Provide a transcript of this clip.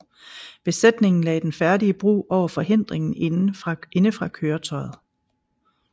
Besætningen lagde den færdige bro over forhindringen indefra køretøjet